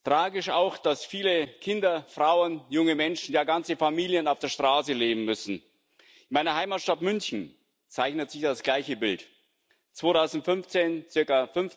Tragisch auch, dass viele Kinder, Frauen, junge Menschen, ja ganze Familien auf der Straße leben müssen. In meiner Heimatstadt München zeichnet sich das gleiche Bild 2015 ca.